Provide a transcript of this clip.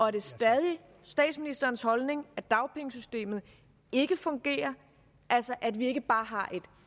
er det stadig statsministerens holdning at dagpengesystemet ikke fungerer altså at vi ikke bare har et